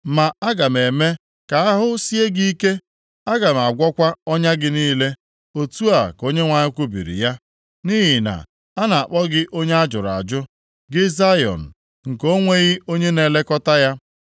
Ma aga m eme ka ahụ sie gị ike; aga m agwọkwa ọnya gị niile,’ otu a ka Onyenwe anyị kwubiri ya. ‘Nʼihi na a na-akpọ gị onye a jụrụ ajụ. Gị Zayọn, nke o nweghị onye na-elekọta ya.’